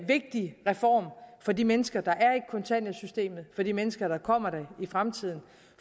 vigtig reform for de mennesker der er i kontanthjælpssystemet for de mennesker der kommer der i fremtiden